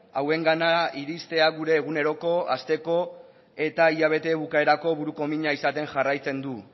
hauengana iristea gure eguneroko asteko eta hilabete bukaerako burukomina izaten jarraitzen du